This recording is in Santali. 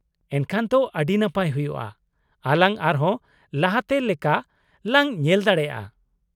ᱮᱱᱠᱷᱟᱱ ᱛᱚ ᱟ.ᱰᱤ ᱱᱟᱯᱟᱭ ᱦᱩᱭᱩᱜᱼᱟ, ᱟᱞᱟᱝ ᱟᱨᱦᱚᱸ ᱞᱟᱦᱟᱛᱮ ᱞᱮᱠᱟ ᱞᱟᱝ ᱧᱮᱞ ᱫᱟᱲᱮᱭᱟᱜᱼᱟ ᱾